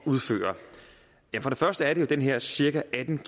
udføre for det første er det den her cirka atten